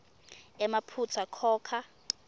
emaphutsa khokha